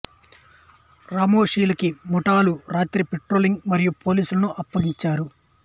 రామోషి లు కి మరాఠాలు రాత్రి పెట్రోలింగ్ మరియు పోలీసులను అప్పగించారు